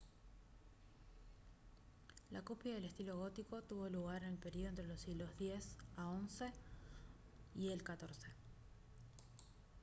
la cúspide del estilo gótico tuvo lugar en el período entre los siglos x-xi y el xiv